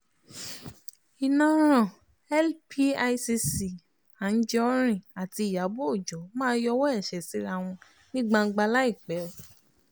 iná ran l picc anijọrin àti ìyàbọ̀ ọjọ́ máa yọwọ́ ẹ̀ṣẹ́ síra wọn ní gbangba láìpẹ́